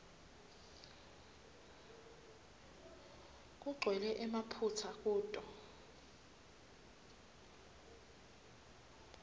kugcwele emaphutsa kuto